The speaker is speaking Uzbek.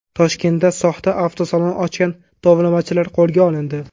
Toshkentda soxta avtosalon ochgan tovlamachilar qo‘lga olindi.